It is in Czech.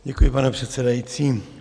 Děkuji, pane předsedající.